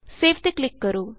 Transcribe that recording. save ਤੇ click ਕਰੋ